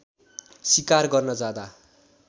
सिकार गर्न जाँदा